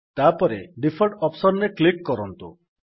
ତାପରେ default option ରେ click କରନ୍ତୁ